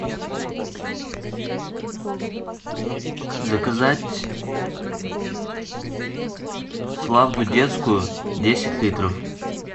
заказать славду детскую десять литров